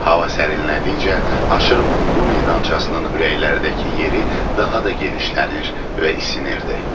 Hava sərinlədikcə aşırımın bu meydançasının ürəklərdəki yeri daha da genişlənir və isinirdi.